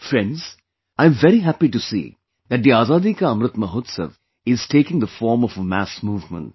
Friends, I am very happy to see that the Azadi Ka Amrit Mahotsav is taking the form of a mass movement